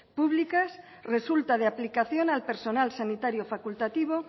públicas resulta de aplicación al personal sanitario facultativo